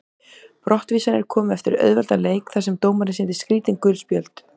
Brottvísanirnar komu eftir auðveldan leik þar sem dómarinn sýndi skrítin gul spjöld.